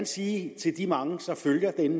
sige til de mange der følger den